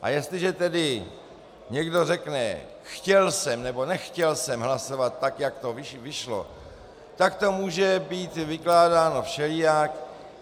A jestliže tedy někdo řekne chtěl jsem nebo nechtěl jsem hlasovat tak, jak to vyšlo, tak to může být vykládáno všelijak.